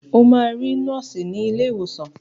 O máa rí nọ́ọ̀sì ní ilé ìwòsàn.